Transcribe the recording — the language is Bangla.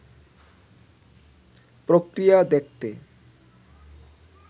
প্রক্রিয়া দেখতে